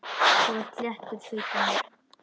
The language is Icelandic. Þú ert léttur, þykir mér!